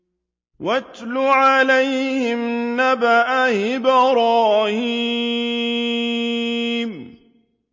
وَاتْلُ عَلَيْهِمْ نَبَأَ إِبْرَاهِيمَ